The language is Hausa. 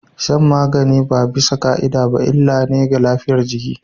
Shan magani ba bisa ka'ida ba illa ne ga lafiyar jiki